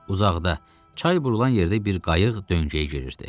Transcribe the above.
Uzaqda, çay burulan yerdə bir qayıq döngəyə girirdi.